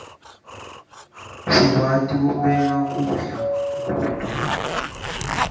sikwati kubeka kudza kuto